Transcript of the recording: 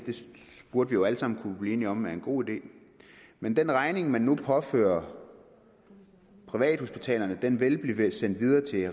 burde vi jo alle sammen kunne blive enige om er en god idé men den regning man nu påfører privathospitalerne vil vil blive sendt videre til